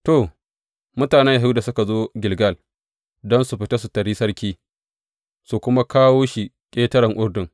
To, mutanen Yahuda suka zo Gilgal don su fita su taryi sarki, su kuma kawo shi ƙetaren Urdun.